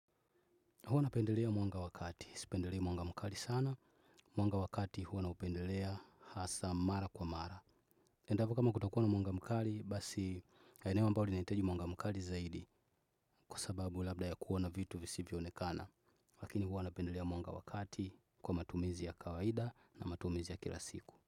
Huwa napendelea mwanga wa kati. Sipendelea mwanga mkali sana. Mwanga wa kati huwa naupendelea hasa mara kwa mara. Endapo kama kutakuwa na mwanga mkali basi yaeneo ambao linahitaji mwanga mkali zaidi kwa sababu labda ya kuona vitu visivyo onekana. Lakini huwa napendelea mwanga wa kati kwa matumizi ya kawaida na matumizi ya kila siku.